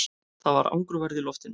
Það var angurværð í loftinu.